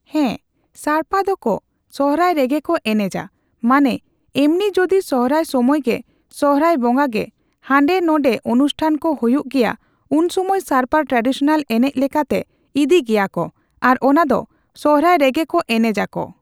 ᱦᱮᱸ ᱥᱟᱲᱯᱟ ᱫᱚᱠᱚ ᱥᱚᱦᱨᱟᱭ ᱨᱮᱜᱮ ᱠᱚ ᱮᱱᱮᱡᱟ ᱢᱟᱱᱮ ᱮᱢᱱᱤ ᱡᱚᱫᱤ ᱥᱚᱦᱨᱟᱭ ᱥᱚᱢᱚᱭᱜᱮ ᱥᱚᱦᱨᱟᱭ ᱵᱚᱸᱜᱟᱜᱮ ᱦᱟᱱᱰᱮ ᱱᱷᱟᱰᱮ ᱚᱱᱩᱥᱴᱷᱟᱱ ᱠᱚ ᱦᱩᱭᱩᱜ ᱜᱮᱭᱟ ᱩᱱ ᱥᱚᱢᱚᱭ ᱥᱟᱲᱯᱟ ᱴᱨᱟᱰᱤᱥᱳᱱᱟᱞ ᱮᱱᱮᱡ ᱞᱮᱠᱟᱛᱮ ᱤᱫᱤ ᱜᱮᱭᱟ ᱠᱚ ᱟᱨ ᱚᱱᱟ ᱫᱚ ᱥᱚᱨᱦᱟᱭ ᱨᱮᱜᱮ ᱠᱚ ᱮᱱᱮᱡ ᱟᱠᱚ ᱾